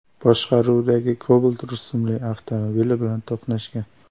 boshqaruvidagi Cobalt rusumli avtomobil bilan to‘qnashgan.